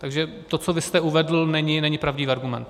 Takže to, co vy jste uvedl, není pravdivý argument.